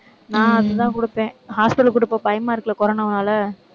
நான் அதுதான் கொடுப்பேன் hospital க்கு கூட்டிட்டு போக பயமா இருக்குல்ல corona னால.